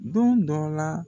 Don dɔ la